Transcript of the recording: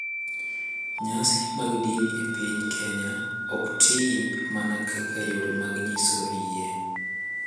Nyasi mag dini e piny Kenya ok ti mana kaka yore mag nyiso yie .